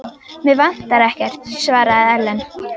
Mig vantar ekkert, svaraði Ellen.